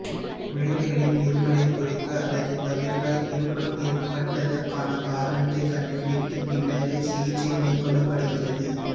குழந்தைகளின் இருமலைக் குறைக்க அல்லது தவிர்க்க இருமல் ஏற்பட்டதற்கான காரணத்தைக் கண்டுபிடித்துப் பின்னரே சிகிச்சை மேற்கொள்ளப்படுகிறது